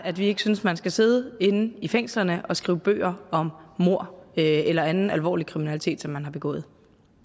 at vi ikke synes man skal sidde inde i fængslerne og skrive bøger om mord eller anden alvorlig kriminalitet som man har begået